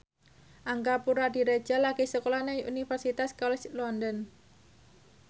Angga Puradiredja lagi sekolah nang Universitas College London